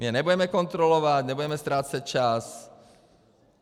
My je nebudeme kontrolovat, nebudeme ztrácet čas.